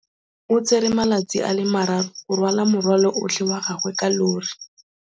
O tsere malatsi a le marraro go rwala morwalo otlhe wa gagwe ka llori.